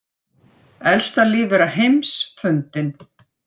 Elsta lífvera heims fundin